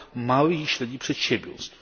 małych i średnich przedsiębiorstw.